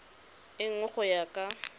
e nngwe go ya kwa